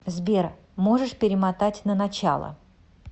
сбер можешь перемотать на начало